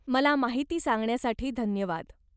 मला माहिती सांगण्यासाठी धन्यवाद.